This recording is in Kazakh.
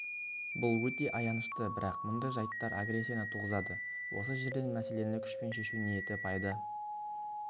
бұл өте аянышты бірақ мұндай жайттар агрессияны туғызады осы жерден мәселені күшпен шешу ниеті пайда